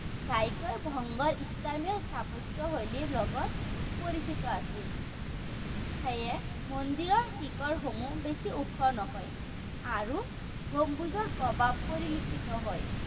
ঘাইকৈ বংগৰ স্থানীয় স্থাপত্যশৈলীৰ লগত পৰিচিত আছিল। সেয়ে মন্দিৰ শিখৰসমূহ বেছি ওখ নহয়। আৰু, গম্বুজৰ প্ৰভাৱ পৰিলক্ষিত হয়।